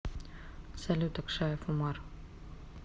салют акшаев умар